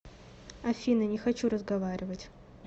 афина не хочу разговаривать